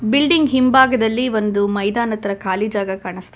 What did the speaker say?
building ಹಿಂಭಾಗದಲ್ಲಿ ಒಂದು ಮೈದಾನದ್ ತರ ಖಾಲಿ ಜಾಗ ಕಾಣಿಸ್ತಾ--